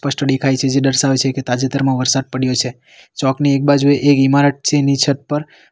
મસ્ત દેખાય છે જે દર્શાવે છે કે તાજેતરમાં વરસાદ પડ્યો છે ચોકની એક બાજુ એક ઈમારત છે એની છત પર --